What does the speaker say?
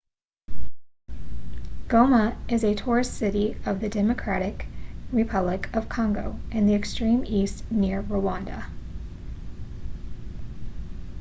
goma is a tourist city of the democratic republic of congo in the extreme east near rwanda